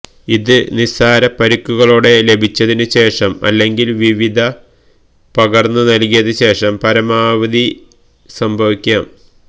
ഇത് നിസാര പരിക്കുകളോടെ ലഭിച്ചതിനുശേഷം അല്ലെങ്കിൽ വിവിധ പകര്ന്നുനല്കിയത് ശേഷം പരമാവധി ന് സംഭവിക്കാം